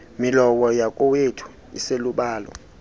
milowo yakowethu iselubala